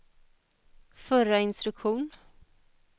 förra instruktion